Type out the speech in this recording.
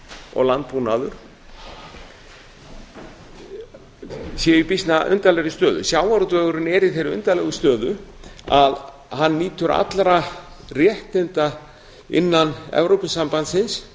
og landbúnaður séu í býsna undarlegri stöðu sjávarútvegurinn er í þeirri undarlegu stöðu að hann nýtur allra réttinda innan evrópusambandsins